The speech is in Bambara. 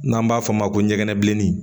N'an b'a f'o ma ko ɲɛgɛn bilennin